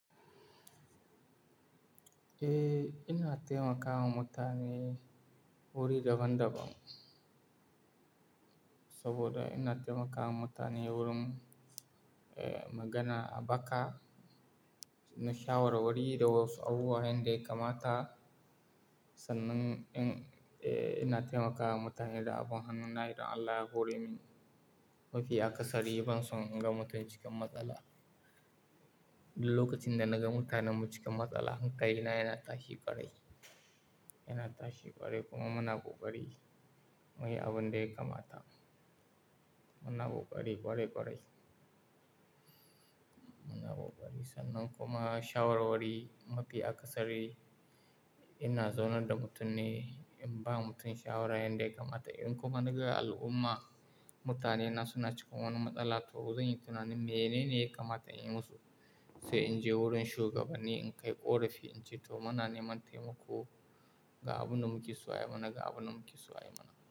Eh, ina taimakawa mutane wuri daban-daban. Saboda ina taimakawa mutane wurin, eh, magana a baka, na shawarwari da wasu abubuwa nan da kamata. Sannan in, eh, ina taimakawa mutane da abun hannuna, irin Allah ya hore min. Mafiya kasari ban son in gama mutane cikin matsala. Lokacin da naga mutane mun cikin matsala, hankali na yana tashi ƙwarai, yana tashi ƙwarai kuma muna ƙokari muyi abin da ya kamata. Muna kokari ƙwarai ƙwarai. Muna buƙari sannan kuma shawarwari mafiya kasari ina zaunar da mutum ne, in ba mutum shawara yanda kamata. In kuma naga al'umma, mutane na suna cikin wani matsala to zan yi tunanin menene kamata in yi musu. Sai in je wurin shugabanni in kai ƙorafi in ce to muna neman taimako ga abin da muke so a yi mana, ga abin da muke so a yi mana.